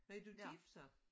Er du gift så?